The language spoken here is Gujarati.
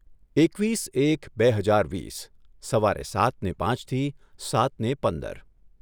એકવીસ એક બે હજાર વીસ સવારે સાતને પાંચથી સાતને પંદર